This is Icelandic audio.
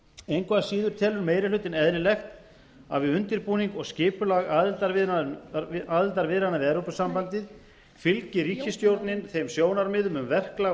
engu að síður telur meiri hlutinn eðlilegt að við undirbúning og skipulag aðildarviðræðna við evrópusambandið fylgi ríkisstjórnin þeim sjónarmiðum um verklag